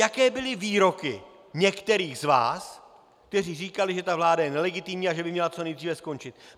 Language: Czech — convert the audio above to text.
Jaké byly výroky některých z vás, kteří říkali, že ta vláda je nelegitimní a že by měla co nejdříve skončit.